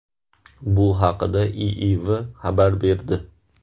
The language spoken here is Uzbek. Bu haqda IIV xabar berdi.